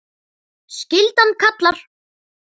Skyldan kallar!